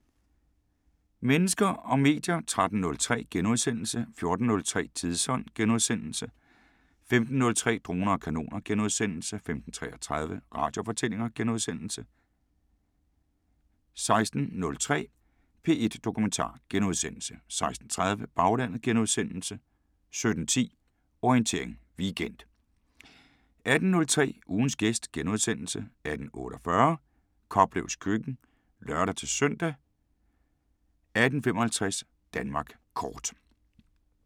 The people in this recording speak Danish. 13:03: Mennesker og medier * 14:03: Tidsånd * 15:03: Droner og kanoner * 15:33: Radiofortællinger * 16:03: P1 Dokumentar * 16:30: Baglandet * 17:10: Orientering Weekend 18:03: Ugens gæst * 18:48: Koplevs køkken (lør-søn) 18:55: Danmark kort